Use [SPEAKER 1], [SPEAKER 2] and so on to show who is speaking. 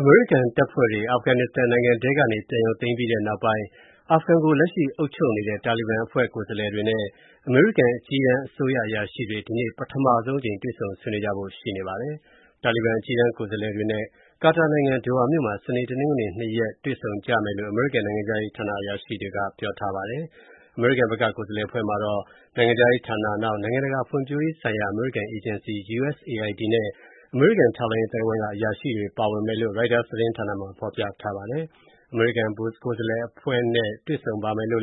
[SPEAKER 1] အမေရိကန်တပ်ဖွဲ့တွေ အာဖဂန်နစ္စတန်နိုင်ငံထဲကနေ ပြန်ရုပ်သိမ်းပြီးနောက်ပိုင်း အာဖဂန်ကို လက်ရှိအုပ်ချုပ်နေတဲ့ တာလီဘန်အဖွဲ့ ကိုယ်စားလှယ်တွေနဲ့ အမေရိကန် အကြီးတန်း အစိုးရအရာရှိတွေ ဒီကနေ့ ပထမဆုံးအကြိမ် တွေ့ဆုံဆွေးနွေးကြဖို့ ရှိပါတယ်။ တာလီဘန် အကြီးတန်း ကိုယ်စားလှယ်တွေနဲ့ ကာတာနိုင်ငံ၊ ဒိုဟာမြို့မှာ စနေနဲ့ တနင်္ဂနွေ နှစ်ရက် တွေ့ဆုံကြမယ့်အကြောင်း အမေရိကန် နိုင်ငံခြားရေးဌာန အရာရှိတွေက ပြောထားပါတယ်။ အမေရိကန်ဘက်က ကိုယ်စားလှယ်အဖွဲ့မှာတော့ နိုင်ငံခြားရေးဌာန၊ နိုင်ငံတကာ ဖွံ့ဖြိုးရေးဆိုင်ရာ အမေရိကန်အေဂျင်စီ (USAID) နဲ့ အမေရိကန် ထောက်လှမ်းရေး အသိုင်းအဝိုင်းက အရာရှိတွေ ပါဝင်တဲ့အကြောင်း ရိုက်တာသတင်းမှာ ဖော်ပြထားပါတယ်။ အမေရိကန် ကိုယ်စားလှယ်အဖွဲ့နဲ့ တွေ့ဆုံမယ့်အကြောင်းကို